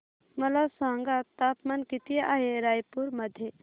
मला सांगा तापमान किती आहे रायपूर मध्ये